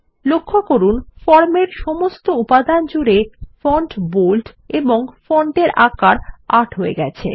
লক্ষ্য করুন ফর্মের সমস্ত উপাদান জুড়ে ফন্ট বোল্ড এবং ফন্ট সাইজ ৮ হয়ে গেছে